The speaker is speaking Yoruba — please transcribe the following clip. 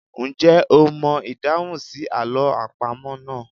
Ǹjẹ́ o mọ ìdáhùn sí àlọ́ àpamọ́ náà?